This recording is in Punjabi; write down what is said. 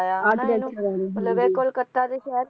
ਕਲਕੱਤਾ ਦੇ ਸ਼ਹਿਰ